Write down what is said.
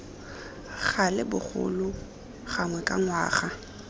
gale bogolo gangwe ka ngwaga